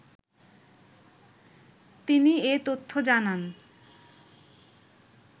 তিনি এ তথ্য জানান